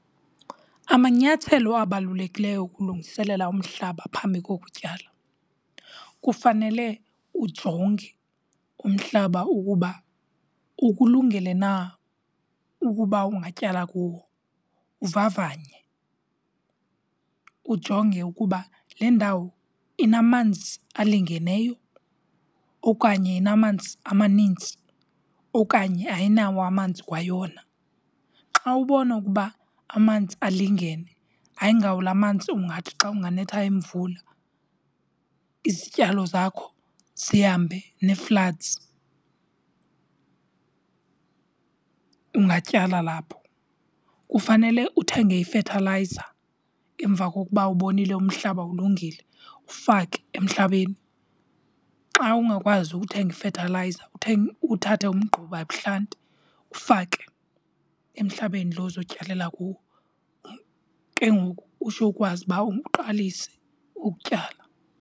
Amanyathelo abalulekileyo ukulungiselela umhlaba phambi kokutyala, kufanele ujonge umhlaba ukuba ukulungele na ukuba ungatyala kuwo. Uvavanye ujonge ukuba le ndawo inamanzi alingeneyo okanye inamanzi amanintsi okanye ayinawo amanzi kwayona. Xa ubona ukuba amanzi alingene ayingawo la manzi ungathi xa kunganetha imvula izityalo zakho zihambe nee-floods, ungatyala lapho. Kufanele uthenge ifethalayiza emva kokuba ubonile umhlaba ulungile, ufake emhlabeni. Xa ungakwazi ukuthenga ifethalayiza uthathe umgquba ebuhlanti ufake emhlabeni lo uzotyalela kuwo. Ke ngoku utsho ukwazi uba uqalise ukutyala.